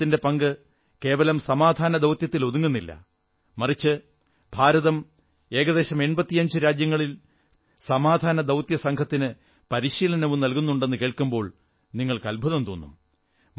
ഭാരതത്തിന്റെ പങ്ക് കേവലം സമധാനദൌത്യത്തിൽ ഒതുങ്ങുന്നില്ല മറിച്ച് ഭാരതം ഏകദേശം 85 രാജ്യങ്ങളിൽ സമാധാനദൌത്യസംഘത്തിന് പരിശീലനവും നൽകുന്നുണ്ടെന്നു കേൾക്കുമ്പോൾ നിങ്ങൾക്ക് അത്ഭുതം തോന്നും